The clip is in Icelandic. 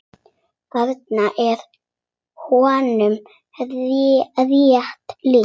Þarna er honum rétt lýst.